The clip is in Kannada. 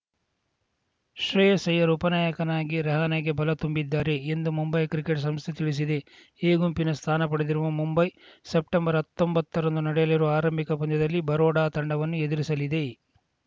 ಶ್ರೇಯಸ್‌ ಅಯ್ಯರ್‌ ಉಪನಾಯಕನಾಗಿ ರಹಾನೆಗೆ ಬಲ ತುಂಬಲಿದ್ದಾರೆ ಎಂದು ಮುಂಬೈ ಕ್ರಿಕೆಟ್‌ ಸಂಸ್ಥೆ ತಿಳಿಸಿದೆ ಎ ಗುಂಪಿನ ಸ್ಥಾನ ಪಡೆದಿರುವ ಮುಂಬೈ ಸೆಪ್ಟೆಂಬರ್ಹತ್ತೊಂಬತ್ತರಂದು ನಡೆಯಲಿರುವ ಆರಂಭಿಕ ಪಂದ್ಯದಲ್ಲಿ ಬರೋಡಾ ತಂಡವನ್ನು ಎದುರಿಸಲಿದೆ